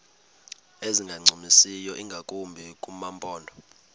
ezingancumisiyo ingakumbi kumaphondo